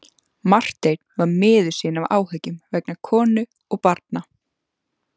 Marteinn var miður sín af áhyggjum vegna konu og barna.